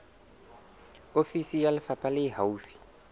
ofisi ya lefapha le haufi